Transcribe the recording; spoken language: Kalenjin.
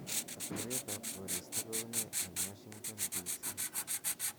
atebtab koristo kounee en washington d c